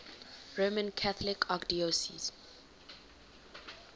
roman catholic archdiocese